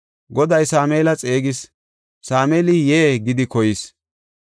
Goday Sameela xeegis; Sameeli, “Yee” gidi koyis.